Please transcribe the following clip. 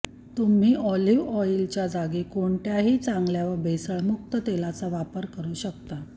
तुम्ही ऑलिव्ह ऑइलच्या जागी कोणत्याही चांगल्या व भेसळमुक्त तेलाचा वापर करु शकता